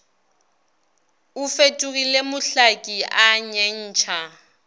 o fetogile mohlaki a nyentšha